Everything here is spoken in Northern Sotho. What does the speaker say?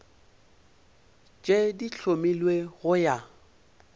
tše di hlomilwego go ya